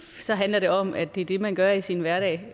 så handler det om at det er det man gør i sin hverdag